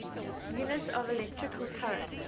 units of electrical current